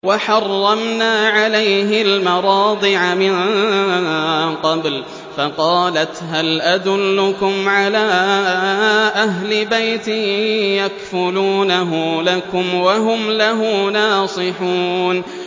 ۞ وَحَرَّمْنَا عَلَيْهِ الْمَرَاضِعَ مِن قَبْلُ فَقَالَتْ هَلْ أَدُلُّكُمْ عَلَىٰ أَهْلِ بَيْتٍ يَكْفُلُونَهُ لَكُمْ وَهُمْ لَهُ نَاصِحُونَ